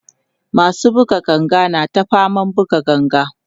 masu buga ganga na ta faman buga ganga